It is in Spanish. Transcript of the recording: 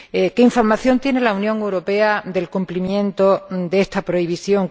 ¿Qué información tiene la Unión Europea del cumplimiento de esta prohibición?